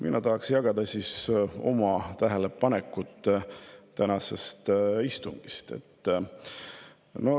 Mina tahaksin jagada oma tähelepanekuid tänasest istungist.